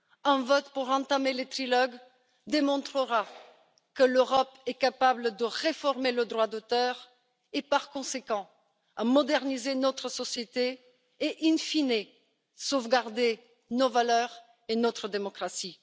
Un vote pour entamer le trilogue démontrera que l'Europe est capable de réformer le droit d'auteur, et par conséquent de moderniser notre société et, in fine de sauvegarder nos valeurs et notre démocratie.